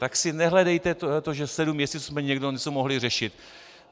Tak si nehledejte to, že sedm měsíců jsme někdo něco mohli řešit.